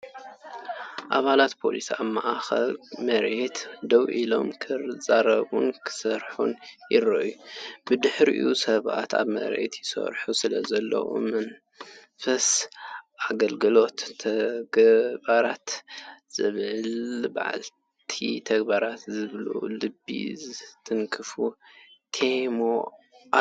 ኣባላት ፖሊስ ኣብ ማእከል መሬት ደው ኢሎም ክዛረቡን ክሰርሑን ይረኣዩ። ብድሕሪኦም ሰባት ኣብ መሬት ይሰርሑ ስለዘለዉ፡ ንመንፈስ ኣገልግሎትን ተግባርን ዘብዕል መዓልቲ ተግባር ዝብል ልቢ ዝትንክፍ ቴማ ኣለዎ።